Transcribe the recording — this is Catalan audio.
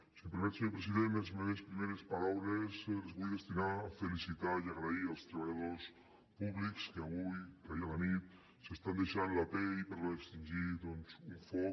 si em permet senyor president les meves primeres paraules les vull destinar a felicitar i agrair als treballadors públics que avui que ahir a la nit s’estan deixant la pell per extingir doncs un foc